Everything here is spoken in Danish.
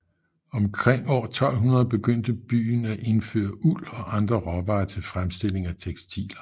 Omkring år 1200 begyndte byen at indføre uld og andre råvarer til fremstilling af tekstiler